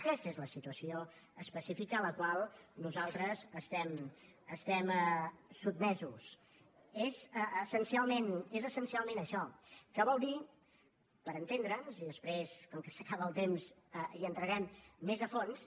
aquesta és la situació específica a la qual nosaltres estem sotmesos és essencialment això que vol dir per entendre’ns i després com que s’acaba el temps hi entrarem més a fons